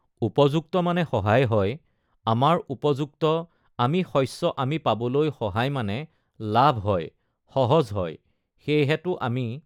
উপযুক্ত মানে সহায় হয়, আমাৰ উপযুক্ত আমি শস্য আমি পাবলৈ সহায় মানে লাভ হয়, সহজ হয়, সেইহেতু আমি